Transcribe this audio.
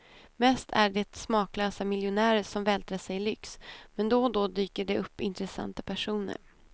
Mest är det smaklösa miljonärer som vältrar sig i lyx, men då och då dyker det upp intressanta personer.